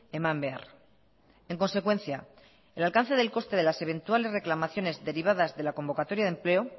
eman behar en consecuencia el alcance del coste de las eventuales reclamaciones derivadas de la convocatoria de empleo